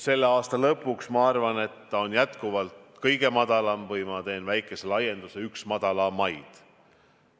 Selle aasta lõpuks, ma arvan, on see jätkuvalt kõige madalam või, ma teen väikese laienduse, üks madalamaid.